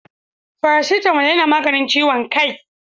Faracitamol yana maganin ciwon kaii.